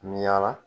Mi yaala